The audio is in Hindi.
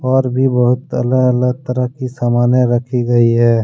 और भी बहुत अलग अलग तरह की सामाने रखी गई है।